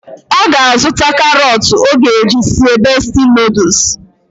Ọ ga-azụta karọt ọ ga-eji sie besti nọdụs